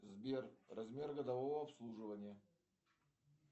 сбер размер годового обслуживания